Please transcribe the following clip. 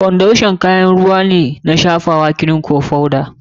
Foundation wani kayan shafawa ne na ruwa, kirim, ko foda.